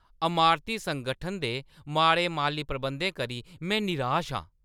अमारती संगठन दे माड़े माल्ली प्रबंधें करी में नराश आं ।